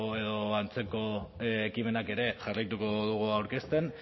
edo antzeko ekimenak ere jarraituko dugu aurkezten